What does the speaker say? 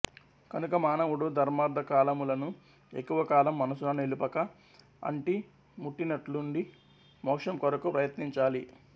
కనుక మానవుడు ధర్మార్ధకామములను ఎక్కువ కాలం మనసున నిలుపక అంటీ ముట్టనట్లుండి మోక్షం కొరకు ప్రయత్నించాలి